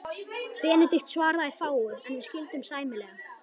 Benedikt svaraði fáu, en við skildum sæmilega.